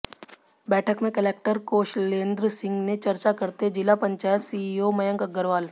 बैठक में कलेक्टर कौशलेंद्र सिंह से चर्चा करते जिला पंचायत सीईओ मयंक अग्रवाल